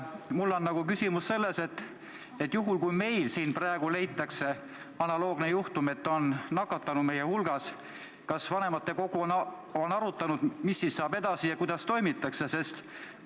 Mul on selline küsimus: juhul kui meil siin praegu leitakse analoogne juhtum, et keegi meie hulgast on nakatunu, siis mis saab edasi, kuidas toimitakse?